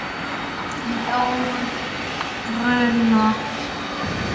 Jón Bruno.